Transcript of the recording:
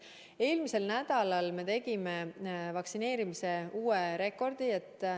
Eelmisel nädalal tegime vaktsineerimises uue rekordi.